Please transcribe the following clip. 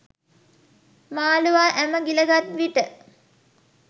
මාළුවා ඇම ගිලගත්විට